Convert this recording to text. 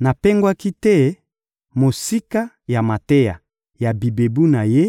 Napengwaki te mosika ya mateya ya bibebu na Ye;